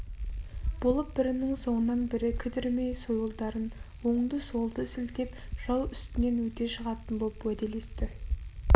болып бірінің соңынан бірі кідірмей сойылдарын оңды-солды сілтеп жау үстінен өте шығатын боп уәделесті